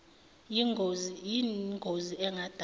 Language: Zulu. yin gozi engadala